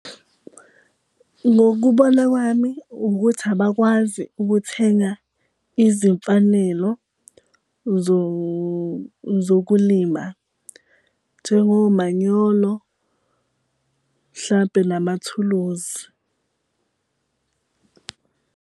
Ngokubona kwami ukuthi abakwazi ukuthenga izimfanelo zokulima, njengomanyolo mhlampe namathuluzi.